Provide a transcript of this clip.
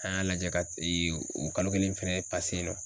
An y'a lajɛ ka ee o kalo kelen fɛnɛ yen nɔ.